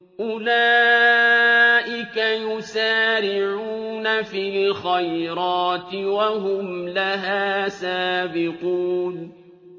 أُولَٰئِكَ يُسَارِعُونَ فِي الْخَيْرَاتِ وَهُمْ لَهَا سَابِقُونَ